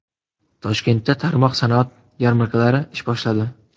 Toshkentda tarmoq sanoat yarmarkalari ish boshladi.